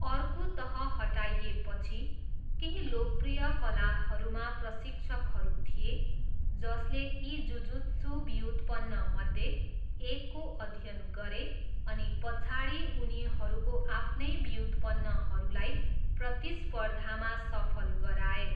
अर्को तह हटाइएपछि, केही लोकप्रिय कलाहरूमा प्रशिक्षकहरू थिए जसले यी जुजुत्सु व्युत्पन्नमध्ये एकको अध्ययन गरे अनि पछाडि उनीहरूको आफ्नै व्युत्पन्नहरूलाई प्रतिस्पर्धामा सफल गराए।